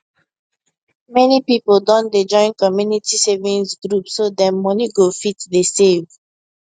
many people don dey join community savings group so dem money go fit dey save